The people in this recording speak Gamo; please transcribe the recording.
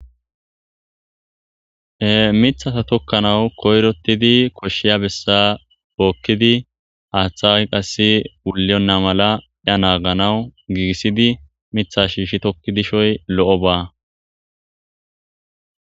Mithata tokkanawu koyrotidi koshshiya bessa bookkidi haaththa a qass puliyonna mala ya naaganawu giigissidi mitha shiishi tokkidishoy lo'o ba.